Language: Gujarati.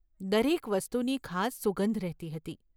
દરેક વસ્તુની ખાસ સુગંધ રહેતી હતી.